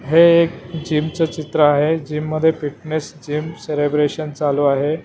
हे एक जिमचं चित्र आहे जिम मध्ये फिटनेस जिम सेलेब्रेशन चालू आहे.